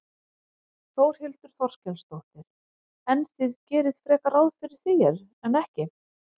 Þórhildur Þorkelsdóttir: En þið gerið frekar ráð fyrir því en ekki?